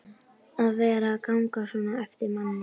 að vera að ganga svona á eftir manni.